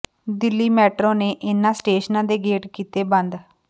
Delhi metro ਨੇ ਇਨ੍ਹਾਂ ਸਟੇਸ਼ਨਾਂ ਦੇ ਗੇਟ ਕੀਤੇ ਬੰਦ